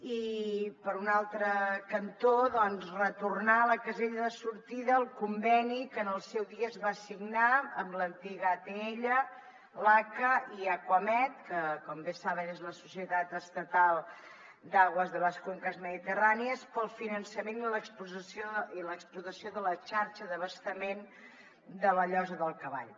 i per un altre cantó retornar a la casella de sortida el conveni que en el seu dia es va signar amb l’antiga atll l’aca i acuamed que com bé saben és la societat estatal de aguas de les cuencas mediterráneas per al finançament i l’exportació de la xarxa d’abastament de la llosa del cavall